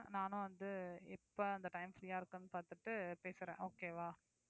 நானும் வந்து எப்ப அந்த time free யா இருக்குன்னு பார்த்துட்டு பேசுறேன் okay வா